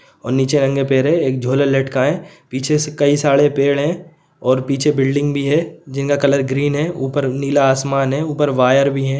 और नीचे नंगे पैर है एक झोला लटकाए पीछे से कई सारे पेड़ है और पीछे बिल्डिंग भी है जिनका कलर ग्रीन है ऊपर नीला आसमान है ऊपर वायर --